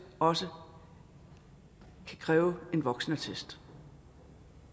også kan kræve en voksenattest